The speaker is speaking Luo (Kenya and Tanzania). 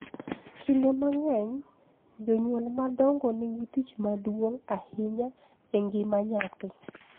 Kinde mang�eny jonyuol madongo nigi tich maduong� ahinya e ngima nyathi,